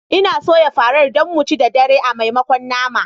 N'na soyan farar Dan mu ci da dare a maimakon nama